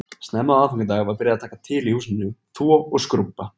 Snemma á aðfangadag var byrjað að taka til í húsinu, þvo og skrúbba